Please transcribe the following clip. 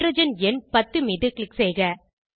hydrogen எண் 10 மீது click செய்க